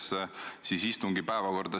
See on midagi rohkemat.